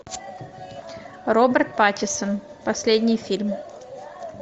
роберт паттинсон последний фильм